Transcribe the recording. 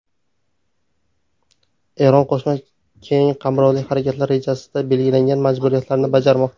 Eron Qo‘shma keng qamrovli harakatlar rejasida belgilangan majburiyatlarini bajarmoqda.